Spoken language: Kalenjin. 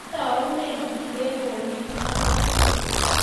kiotounen kiplekonik ang'wan